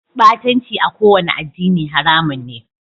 Batanci a kowane addini haramun ne.